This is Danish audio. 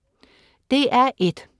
DR1: